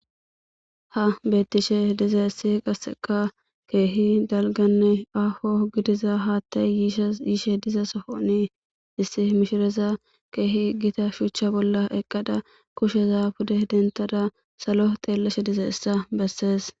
Ha betishshe dizayissi qasekka kehi dalganne aho gidizza haththay yiza sohoni issi mishshiraya kehi gita shuchcha bolla eqada kushsheza pude debththada salo xelashshe dizayssa besses